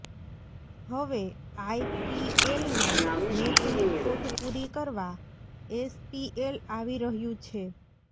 હવે આઇપીએલના મેચની ખોટ પૂરી કરવા એસપીએલ આવી રહ્યું છે